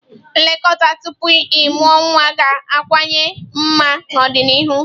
Nlekọta tupu ịmụ nwa ga-akawanye mma n'ọdịnihu